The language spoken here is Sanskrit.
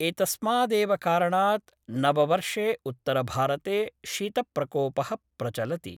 एतस्मादेव कारणात् नववर्षे उत्तरभारते शीतप्रकोप: प्रचलति।